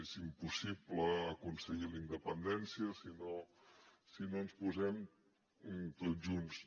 és impossible aconseguir la independència si no ens hi posem tots junts